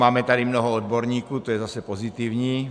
Máme tady mnoho odborníků, to je zase pozitivní.